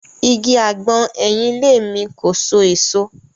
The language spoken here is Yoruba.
Igi àgbọn ẹ̀yìn ilé mi kò so èso.